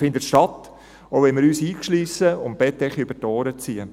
Er findet statt, auch wenn wir uns einschliessen und die Bettdecke über die Ohren ziehen.